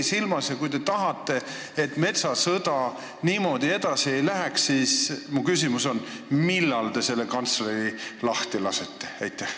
Mu küsimus on: kui te tahate, et metsasõda niimoodi edasi ei läheks, siis millal te selle kantsleri lahti lasete?